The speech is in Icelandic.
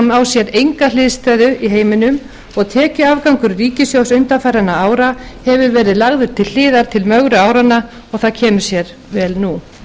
á sér enga hliðstæðu í heiminum og tekjuafgangur ríkissjóðs undanfarinna ára hefur verið lagður til hliðar til mögru áranna og það kemur sér vel nú